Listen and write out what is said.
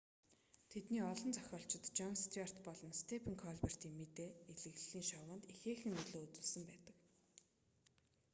тэдний олон зохиолчид жон стьюарт болон степен колбертын мэдээ элэглэлийн шоунд ихээхэн нөлөө үзүүлсэн байдаг